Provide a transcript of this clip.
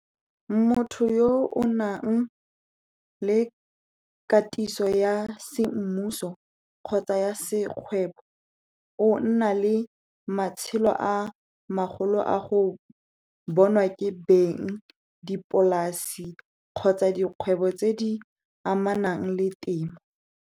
Motho yo o nang le katiso ya semmuso kgotsa ya sekgwebo, o nna le matshelo a magolo a go bonwa ke beng dipolasi kgotsa dikgwebo tse di amanang le temo.